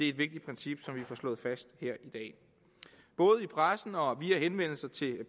et vigtigt princip som vi får slået fast her i dag både i pressen og via henvendelser til